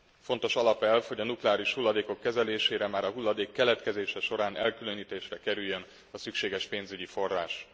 Fontos alapelv, hogy a nukleáris hulladékok kezelésére már a hulladék keletkezése során elkülönítésre kerüljön a szükséges pénzügyi forrás.